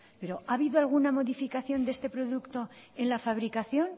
pero ha habido alguna modificación de este producto en la fabricación